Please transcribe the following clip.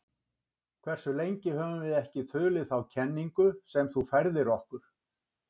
Hversu lengi höfum við ekki þulið þá kenningu sem þú færðir okkur?